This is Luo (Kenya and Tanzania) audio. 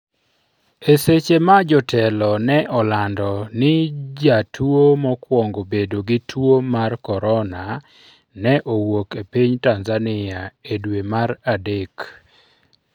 eseche ma jotelo ne olando ni jatuo mokwongo bedo gi tuo mar korona ne owuok e piny Tanzania e dwe mar adek